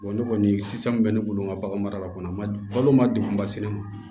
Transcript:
ne kɔni sisan min bɛ ne bolo n ka bagan mara la kɔni balo ma degun basigi